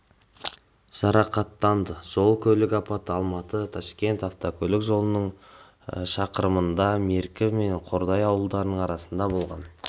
жарақаттанды жол көлік апаты алматы ташкент автокөлік жолының шақырымында меркі және қордай ауылдарының арасында болған